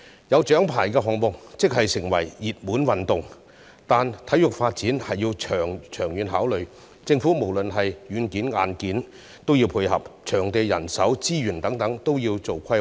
有獎牌的項目會成為熱門運動，但體育發展需要長遠的考慮，政府在軟件及硬件方面均要配合，場地、人手、資源等方面皆需要規劃。